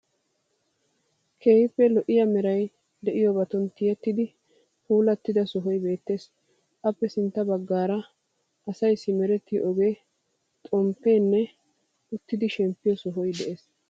Keehippe lo'iya meray de'iyobatun tiyettidi puullatida sohoyi beettees. Appe sintta baggaara asay simerettiyo ogee, poo'u xomppeenne uttidi shemppiyo sohoy de'ees.